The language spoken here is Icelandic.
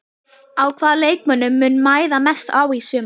Sérkenni viðskiptabréfsreglna koma einkum fram í þremur atriðum.